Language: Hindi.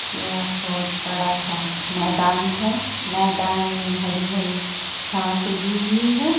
यह बहुत बड़ा-सा मैदान है| मैदान में हरी-हरी घास उगी हुई है।